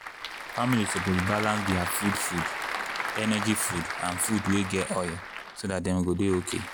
families suppose balance their food food energy food and food wey get oil so dat dem go dey okay.